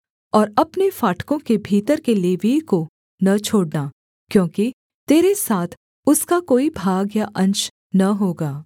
और अपने फाटकों के भीतर के लेवीय को न छोड़ना क्योंकि तेरे साथ उसका कोई भाग या अंश न होगा